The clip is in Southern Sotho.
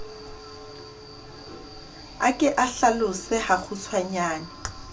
a ke o hlalose hakgutshwanyane